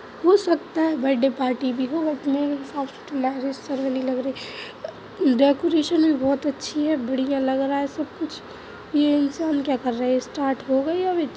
हो सकता है बर्थ डे पार्टी भी हो बट मेरे हिसाब से तो मैरिज सेरेमनी लग रही है। डेकोरेशन भी बहुत अच्छी है। बढ़िया लग रहा है सब कुछ यह इंसान क्या कर रहे है स्टार्ट हो गई है विच --